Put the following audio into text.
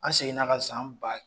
An seginna ka san ba